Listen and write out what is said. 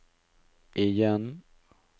igjen